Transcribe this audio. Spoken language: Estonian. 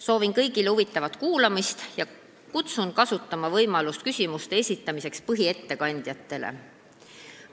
Soovin kõigile huvitavat kuulamist ja kutsun kasutama võimalust põhiettekandjatele küsimuste esitamiseks.